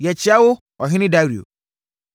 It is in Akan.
Yɛkyea wo, ɔhene Dario.